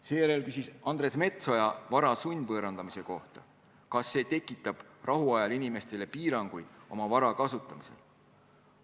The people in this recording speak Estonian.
Seejärel küsis Andres Metsoja vara sundvõõrandamise kohta, kas see tekitab rahuajal inimestele piiranguid oma vara kasutamisel.